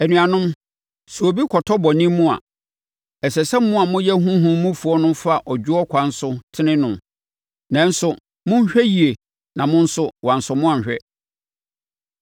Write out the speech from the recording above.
Anuanom, sɛ obi kɔtɔ bɔne mu a, ɛsɛ sɛ mo a moyɛ honhom mufoɔ no fa ɔdwoɔ ɛkwan so tene no. Nanso, monhwɛ wie na mo nso wɔansɔ mo anhwɛ.